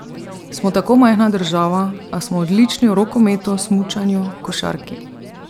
Smo tako majhna država, a smo odlični v rokometu, smučanju, košarki.